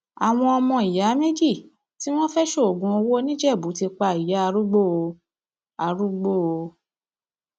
àwọn ọmọ ìyá méjì tí wọn fẹẹ ṣoògùn owó nìjẹbù ti pa ìyá arúgbó o arúgbó o